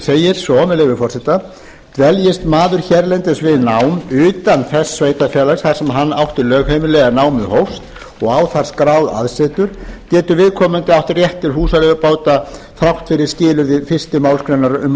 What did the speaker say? segir svo með leyfi forseta dveljist maður hérlendis við nám utan þess sveitarfélags þar sem hann átti lögheimili eða námið hófst og á þar skráð aðsetur getur viðkomandi átt rétt til húsaleigubóta þrátt fyrir skilyrði fyrstu málsgrein um